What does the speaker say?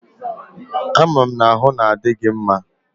A ma'm na-ahu na adi gi mma?